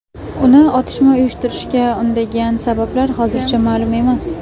Uni otishma uyushtirishga undagan sabablar hozircha ma’lum emas.